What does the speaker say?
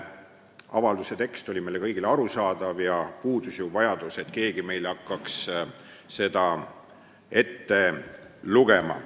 Avalduse tekst oli meile kõigile arusaadav ja puudus vajadus, et keegi hakkaks seda meile ette lugema.